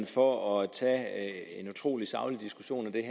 for at tage en utrolig saglig diskussion af det